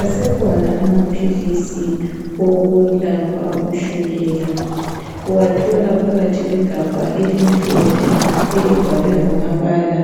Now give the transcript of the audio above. Asekhona amaphilisi. Okulapha ushukela. Uwathola phakathi kwegabha elimhlophe. Elibhalwe ngamabala